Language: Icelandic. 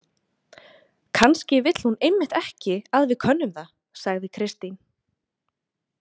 Kannski vill hún einmitt ekki að við könnum það, sagði Kristín.